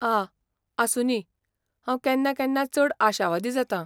आ, आसूं दी! हांव केन्ना केन्ना चड आशावादी जातां.